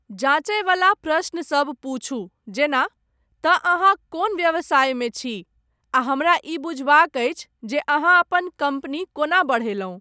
जाँचयवला प्रश्न सब पुछू, जेना, 'तँ अहाँ कोन व्यवसायमे छी?' आ, 'हमरा ई बुझबाक अछि जे अहाँ अपन कम्पनी कोना बढ़यलहुँ!